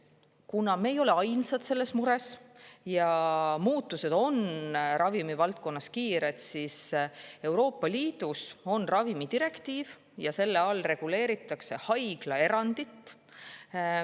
Kuna me ei ole ainsad, kellel on see mure, ja muutused ravimivaldkonnas on kiired, siis reguleeritakse Euroopa Liidu ravimidirektiiviga ka haiglaerandit.